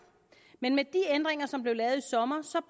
men med de ændringer som blev lavet i sommer